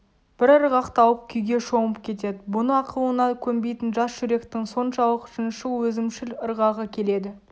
бір ырғақ тауып күйге шомып кетеді бұны ақылына көнбейтін жас жүректің соншалық шыншыл өзімшіл ырғағы келеді